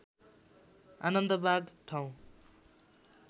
आनन्दबाघ ठाउँ